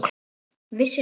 Vissir þú?